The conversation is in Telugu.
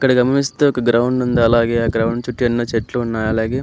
ఇక్కడ గమిస్తే ఒక గ్రౌండ్ ఉంది అలాగే ఆ గ్రౌండ్ చుట్టూ ఎన్నో చెట్లు ఉన్నాయ్ అలాగే--